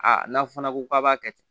Aa n'a fɔ fana ko k'a b'a kɛ